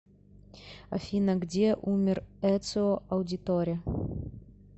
афина где умер эцио аудиторе